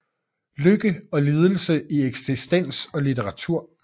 Lykke og lidelse i eksistens og litteratur